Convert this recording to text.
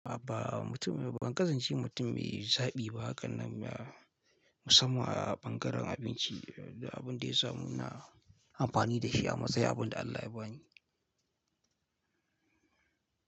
A'a ba mutum ban kasance mutum mai zaɓi ba, haka nan musamman a bangaren abinci da abin da ya samu ina amfani da shi a matsayin abin da Allah ya bani.